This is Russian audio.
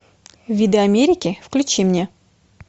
виды америки включи мне